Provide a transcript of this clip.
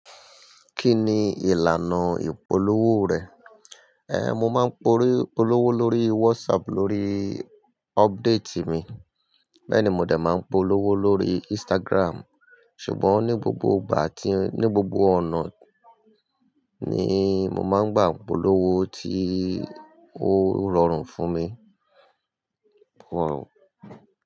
Kí ni ìlànà ìpolówó rẹ̀? Ehn, mo máa ń polówó lórí WhatsApp lórí update mi. Bẹ́ẹ̀ni, mo dà máa ń polówó lórí Instagram. Ṣùgbọ́n ní gbogbo ìgbà tí-- ní gbogbo ọ̀nà ni mo máa ń gba ìpolówó tí ó rọrùn fún mi. Rọrùn.